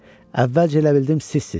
Əvvəlcə elə bildim sizsiz.